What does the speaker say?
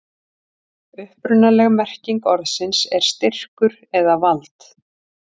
upprunaleg merking orðsins er styrkur eða vald